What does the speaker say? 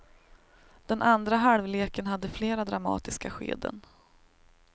Den andra halvleken hade flera dramatiska skeden.